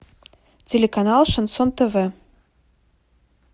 телеканал шансон тв